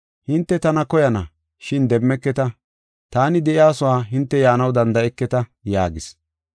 Hinte tana koyana, shin demmeketa. Taani de7iyasuwa hinte yaanaw danda7eketa” yaagis.